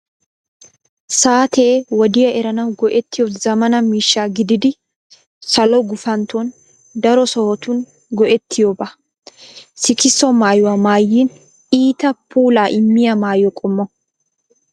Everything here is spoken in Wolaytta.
Saatee wodiya eranawu go'ettiyo zammaana miishsha gididi salo gufantton daro sohotun go'ettiyooba. Sikisso maayoy maayin iita puulaa immiya maayo qommo.